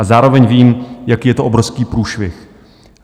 A zároveň vím, jaký je to obrovský průšvih.